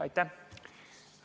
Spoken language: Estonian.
Aitäh!